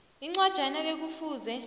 incwajana le kufuze